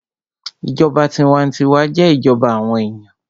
Ìjọba tinwatinwa jẹ́ ìjọba àwọn èèyàn